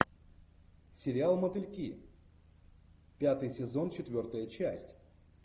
сериал мотыльки пятый сезон четвертая часть